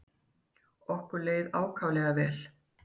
Okkur leið ákaflega vel.